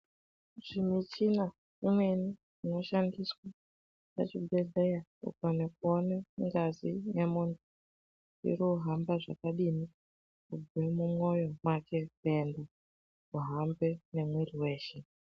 Chi muchina imweni ino shandiswa pa chibhedhleya kana kuone ngazi ye munhu iru hamba zvakadini kubve mu mwoyo make kuenda kuhambe ne mwiri weshe.